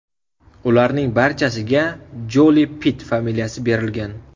Ularning barchasiga Joli-Pitt familiyasi berilgan.